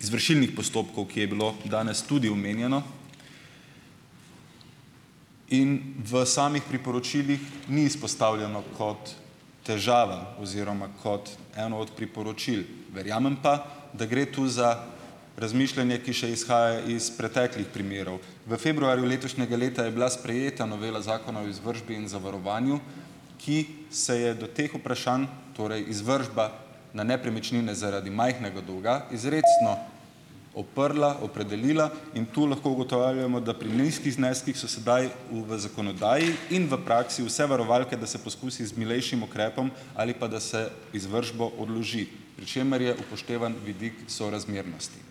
izvršilnih postopkov, ki je bilo danes tudi omenjeno. In v samih priporočilih ni izpostavljeno kot težava oziroma kot eno od priporočil. Verjamem pa, da gre tu za razmišljanje, ki še izhaja iz preteklih primerov. V februarju letošnjega leta je bila sprejeta novela Zakona o izvršbi in zavarovanju, ki se je do teh vprašanj, torej izvršba na nepremičnine zaradi majhnega dolga, izrecno odprla, opredelila. In tu lahko ugotavljamo, da pri nizkih zneskih so sedaj v v zakonodaji in v praksi vse varovalke, da se poskusi z milejšim ukrepom ali pa da se izvršbo odloži, pri čemer je upoštevan vidik sorazmernosti.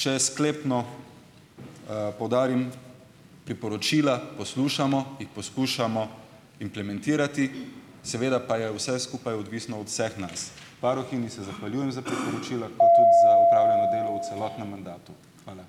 Če sklepno poudarim, priporočila poslušamo, jih poskušamo implementirati, seveda pa je vse skupaj odvisno od vseh nas. Varuhinji se zahvaljujem za priporočila. Hvala.